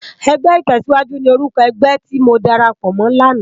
Ègbè itèsíwájú ni órúkò ègbè ti mó dàrápò mò làná